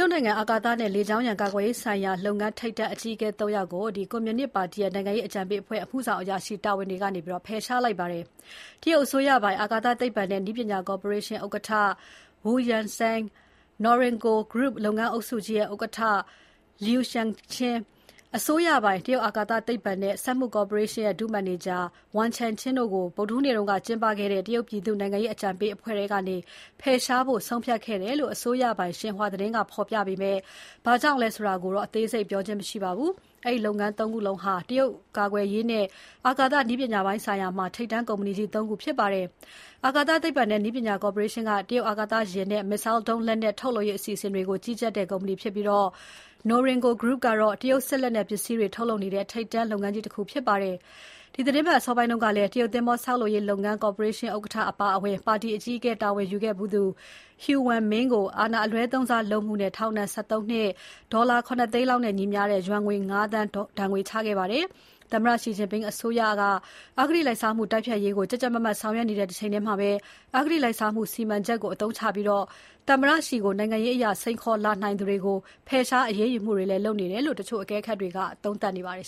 ုတ်နိုင်ငံ အာကာသနဲ့လေကြောင်းရန်ကာကွယ်ရေးဆိုင်ရာလုပ်ငန်း ထိပ်တန်းအကြီးအကဲ ၃ ယောက်ကို ကွန်မြူနစ်ပါတီ နိုင်ငံရေးအကြံပေးအဖွဲ့ရဲ့ အမှုဆောင်အရာရှိတာဝန်တွေကနေ ဖယ်ရှားလိုက်ပါတယ်။ တရုတ်အစိုးရပိုင် အာကာသသိပ္ပံနဲ့ နည်းပညာကော်ပိုရေးရှင်း ဥက္ကဋ္ဌ Wu Yansheng၊ Norinco Group လုပ်ငန်းစုကြီးရဲ့ ဥက္ကဋ္ဌ Liu Shiquan၊ အစိုးရပိုင် တရုတ်အာကာသသိပ္ပံနဲ့ စက်မှုကော်ပိုရေးရှင်းရဲ့ ဒုမန်နေဂျာ Wang Changqing တို့ကို ဗုဒ္ဓဟူးနေ့က ကျင်းပခဲ့တဲ့ တရုတ်ပြည်သူ့ နိုင်ငံရေးအကြံပေးအဖွဲ့ထဲကနေ ဖယ်ရှားဖို့ ဆုံးဖြတ်ခဲ့တယ်လို့ အစိုးရပိုင် Xinhua ကဖော်ပြပေမဲ့ ဘာကြောင့်လဲဆိုတာကိုတော့ အသေးစိတ်ပြောကြားခြင်း မရှိပါဘူး။ အဲဒီလုပ်ငန်း ၃ ခုလုံးဟာ တရုတ်ကာကွယ်ရေးနဲ့ အာကာသနည်းပညာပိုင်းဆိုင်ရာမှာ ထိပ်တန်းကုမ္ပဏီကြီး ၃ ခုဖြစ်ပါတယ်။ အာကာသသိပ္ပံနဲ့ နည်းပညာကော်ပိုရေးရှင်းက တရုတ်အာကာသယာဉ်နဲ့ Missile ဒုံးလက်နက်ထုတ်လုပ်ရေးအစီအစဉ်တွေကို ကြီးကြပ်တဲ့ ကုမ္ပဏီဖြစ်ပြီး Norinco Group ကတော့ တရုတ်စစ်လက်နက်ပစ္စည်းတွေထုတ်လုပ်နေတဲ့ ထိပ်တန်းလုပ်ငန်းကြီးတခုဖြစ်ပါတယ်။ ဒီသတင်းပတ်အစောပိုင်းကလည်း တရုတ်သင်္ဘောဆောက်လုပ်ရေးလုပ်ငန်း ကော်ပိုရေးရှင်းဥက္ကဋ္ဌတာဝန်နဲ့ ပါတီအကြီးအကဲတာဝန်ယူခဲ့သူ Hu Wenming ကို အာဏာအလွဲသုံးစားလုပ်မှုနဲ့ ထောင်ဒဏ် ၁၃ နှစ်နဲ့ ဒေါ်လာ ၇ သိန်းနဲ့ညီမျှတဲ့ ယွမ်ငွေ ၅ သန်းဒဏ်ငွေချခဲ့ပါတယ်။ သမ္မတ Xi Jinping အစိုးရက အဂတိလိုက်စားမှု တိုက်ဖျက်ရေးကို ကြပ်ကြပ်မတ်မတ် ဆောင်ရွက်နေတဲ့တချိန်ထဲမှာ အဂတိလိုက်စားမှု စီမံချက်ကို အသုံးချပြီး သမ္မတ Xi ကိုနိုင်ငံရေးအရ စိန်ခေါ်လာနိုင်သူတွေကို ဖယ်ရှားအရေးယူမှုတွေလည်း လုပ်နေတယ်လို့ တချို့အကဲခတ်တွေက သုံးသပ်နေကြပါတယ်